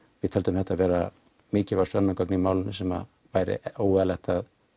við töldum þetta vera mikilvæg sönnunargögn í málinu sem væri óeðlilegt að